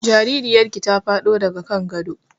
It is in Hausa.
Jaririyar ki ta faɗo daga kan gado